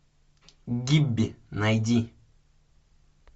гибби найди